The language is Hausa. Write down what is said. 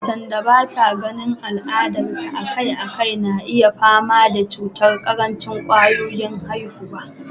Macen da bata ganin al'adar ta a kai a kai na iya fama da cutar karancin kwayoyin haihuwa